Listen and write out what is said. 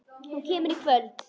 Þú kemur í kvöld!